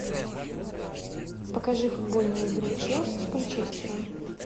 покажи футбольную игру челси с манчестером